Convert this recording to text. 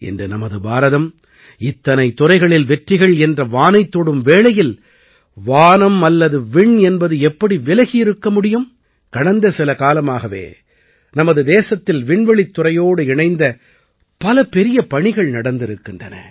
இன்று நமது பாரதம் இத்தனைத் துறைகளில் வெற்றிகள் என்ற வானைத் தொடும் வேளையில் வானம் அல்லது விண் என்பது எப்படி விலகி இருக்க முடியும் கடந்த சில காலமாகவே நமது தேசத்தில் விண்வெளித் துறையோடு இணைந்த பல பெரிய பணிகள் நடந்திருக்கின்றன